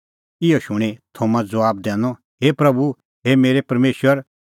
इहअ शूणीं थोमा ज़बाब दैनअ हे प्रभू मेरै परमेशर